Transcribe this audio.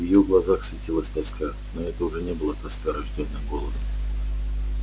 в её глазах светилась тоска но это уже не была тоска рождённая голодом